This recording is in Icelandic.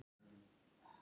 Hann vissi hvað það var.